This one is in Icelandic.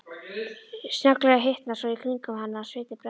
Snögglega hitnar svo í kringum hana að sviti sprettur fram.